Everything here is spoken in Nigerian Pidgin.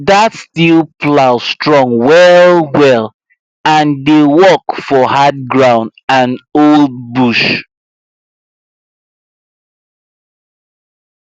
that steel plow strong wellwell and dey work for hard ground and old bush